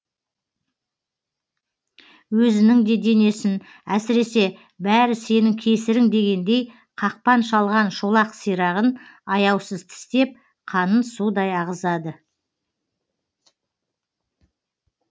өзінің де денесін әсіресе бәрі сенің кесірің дегендей қақпан шалған шолақ сирағын аяусыз тістеп қанын судай ағызады